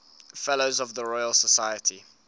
fellows of the royal society